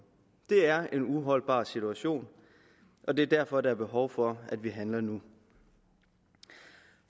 det er en uholdbar situation og det er derfor at der er behov for at vi handler nu